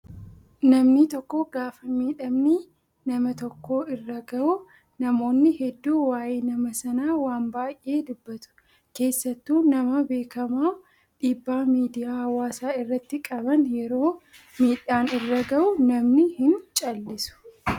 Namni tokko gaafa miidhamni nama tokko irra gahu namoonni hedduun waayee nama Sanaa waan baay'ee dubbatu. Keessattuu nama beekamaa dhiibbaa miidiyaa hawaasaa irratti qaban yeroo miidhaan irra gahu namni hin callisu